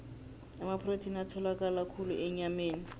amaprotheni atholakala khulu enyameni